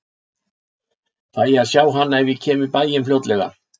Fæ ég að sjá hana ef ég kem í bæinn fljótlega?